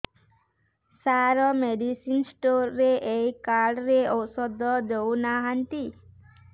ସାର medicine store ରେ ଏଇ card ରେ ଔଷଧ ଦଉନାହାନ୍ତି